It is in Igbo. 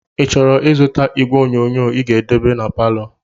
i chọrọ izụta ìgwè onyonyoo i ga-edebe n'paló?